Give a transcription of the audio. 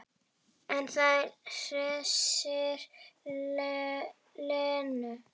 En það hressir Lenu.